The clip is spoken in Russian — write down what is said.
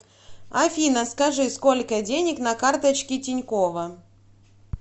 афина скажи сколько денег на карточке тинькова